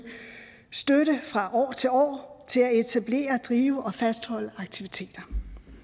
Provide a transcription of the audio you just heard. støtte fra år til år til at etablere drive og fastholde aktiviteter